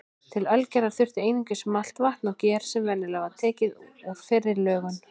Til ölgerðar þurfti einungis malt, vatn og ger sem venjulega var tekið úr fyrri lögun.